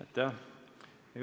Aitäh!